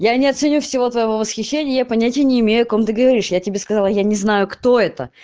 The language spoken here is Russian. я не оценю всего твоего восхищения я понятия не имею о ком ты говоришь я тебе сказала я не знаю кто это